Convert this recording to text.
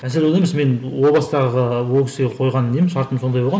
мәселе онда емес мен о бастағы ол кісіге қойған нем шартым сондай болған